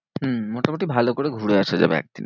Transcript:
হম মোটামুটি ভালো করে ঘুরে আসা যাবে একদিনে।